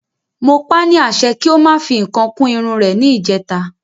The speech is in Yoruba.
Mo pa ni àṣẹ pé kí o máa fi nǹkan kún Irun rè ni ìjèta